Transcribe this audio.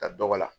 Ka dɔgɔ la